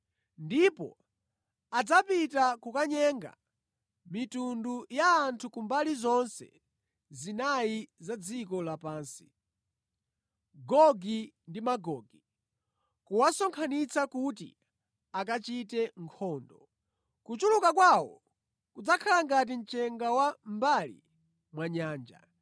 ndipo adzapita kukanyenga mitundu ya anthu kumbali zonse zinayi za dziko lapansi, Gogi ndi Magogi, kuwasonkhanitsa kuti akachite nkhondo. Kuchuluka kwawo kudzakhala ngati mchenga wa mʼmbali mwa nyanja.